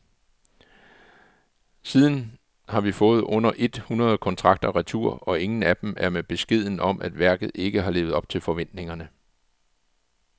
Siden har vi fået under et hundrede kontrakter retur, og ingen af dem er med beskeden om, at værket ikke har levet op til forventningerne.